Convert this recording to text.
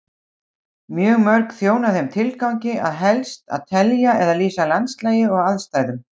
Mjög mörg þjóna þeim tilgangi helst að telja eða lýsa landslagi og aðstæðum.